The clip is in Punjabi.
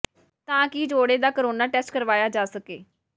ਤਾਂ ਕਿ ਜੋੜੇ ਦਾ ਕਰੋਨਾ ਟੈਸਟ ਕਰਵਾਇਆ ਜਾ ਸਕੇ